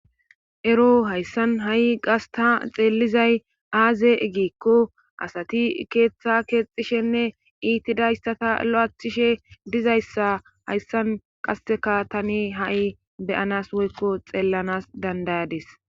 Ero hayssan ha'i qasta xeellizay aaze egikko asati keeththa keexxishenne iitidayssata lo'aathishe dizayssa hayssan qaseka tani ha'i beyanas woykko xeellanas dandayades